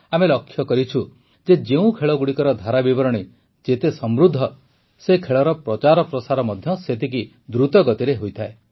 ଆମେ ଲକ୍ଷ୍ୟ କରିଛୁ ଯେ ଯେଉଁ ଖେଳଗୁଡ଼ିକର ଧାରାବିବରଣୀ ଯେତେ ସମୃଦ୍ଧ ସେ ଖେଳର ପ୍ରଚାର ପ୍ରସାର ମଧ୍ୟ ସେତିକି ଦୃତ ଗତିରେ ହୋଇଥାଏ